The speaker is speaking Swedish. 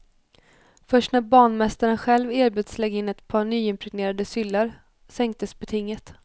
Först när banmästaren själv erbjöds lägga in ett par ny impregnerade syllar sänktes betinget.